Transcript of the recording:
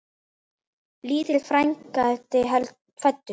Lítill frændi fæddur.